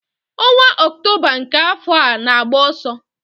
Ọnwa Ọktoba nke afọ a na-agba ọsọ.